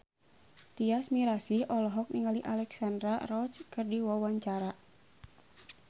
Tyas Mirasih olohok ningali Alexandra Roach keur diwawancara